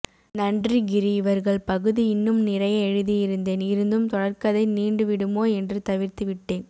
நன்றி கிரி இவர்கள் பகுதி இன்னும் நிறைய எழுதியிருந்தேன் இருந்தும் தொடர்கதை நீண்டு விடுமோ என்று தவிர்த்து விட்டேன்